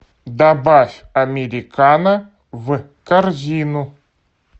добавь американо в корзину